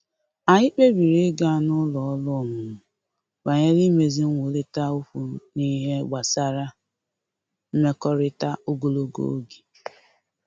Anyị kpebiri ịga n’ụlọ ọrụ ọmụmụ banyere imezi nkwurịta okwu n’ihe gbasara mmekọrịta ogologo oge